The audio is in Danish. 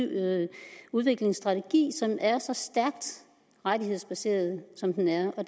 udviklingsstrategi som er så stærkt rettighedsbaseret som den er og